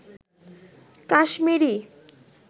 Kashmiri